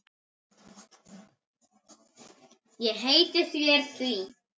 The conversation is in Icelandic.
Ég heiti þér því.